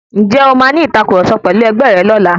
Ǹjẹ́ o màa ní ìtàkurọ̀sọ pẹ̀lu ẹgbẹ̀ rẹ lọ́la?